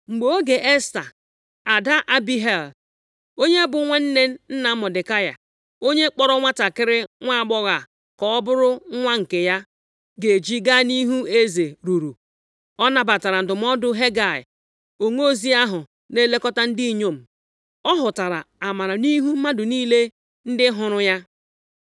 Mgbe oge Esta (ada Abihail, onye bụ nwanne nna Mọdekai, onye kpọọrọ nwantakịrị nwaagbọghọ a ka ọ bụrụ nwa nke ya) ga-eji gaa nʼihu eze ruru, ọ nabatara ndụmọdụ Hegai, onozi ahụ na-elekọta ndị inyom. Ọ hụtara amara nʼihu mmadụ niile ndị hụrụ ya.